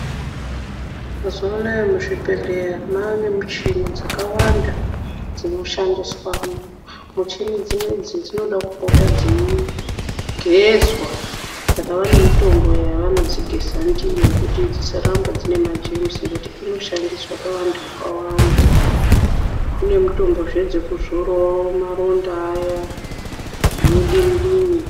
Mazuwa anaa, muzvibhedhleya mwaane michhini dzakawanda, dzinoshandiswemwo, machini dzinedzi dzinoda kupota dzeigezwa, saka vane mitombo yevanodzigeza ndiyo kuti isaramba ine majemusi, ngekuti inoshandiswa pavanthu vakawanda. Kune mitombozve dzekuzorawo maronda aya, zvinodini-dini.